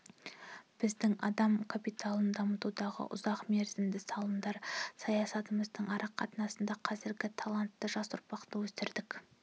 біздің адам капиталын дамытудағы ұзақмерзімді салымдар саясатымыздың арқасында қазіргі талантты жас ұрпақты өсірдік